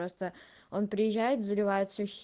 просто он приезжает заливает все х